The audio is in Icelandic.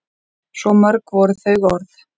Svo mörg voru þau orð!